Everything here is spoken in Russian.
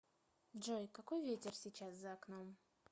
джой какой ветер сейчас за окном